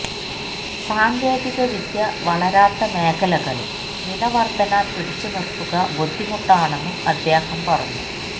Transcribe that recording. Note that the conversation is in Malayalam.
സാങ്കേതിക വിദ്യ വളരാത്ത മേഖലകളില് വിലവര്ധന പിടിച്ചുനിര്ത്തുക ബുദ്ധിമുട്ടാണെന്നും അദ്ദേഹം പറഞ്ഞു